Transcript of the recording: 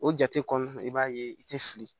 O jate kɔnɔna na i b'a ye i tɛ fili